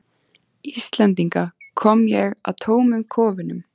Íslendinga, kom ég að tómum kofunum.